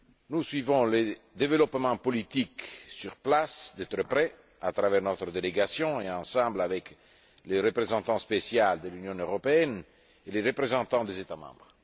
Nous suivons les développements politiques sur place, de très près, à travers notre délégation et avec le représentant spécial de l'Union européenne et les représentants des États membres.